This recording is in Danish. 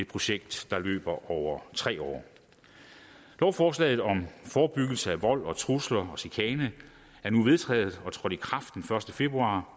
projekt der løber over tre år lovforslaget om forebyggelse af vold trusler og chikane er nu vedtaget og trådte i kraft den første februar